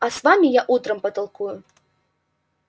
а с вами я утром потолкую